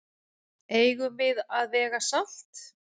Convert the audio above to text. Eigum við að vega salt?